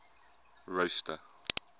rosta